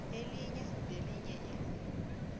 elinye nelinye ilungu